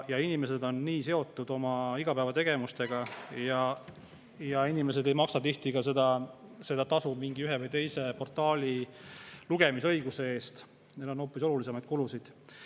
Inimesed on nii seotud oma igapäevategevustega, inimesed ei maksa tihti ka tasu ühe või teise portaali lugemisõiguse eest, neil on hoopis olulisemaid kulusid.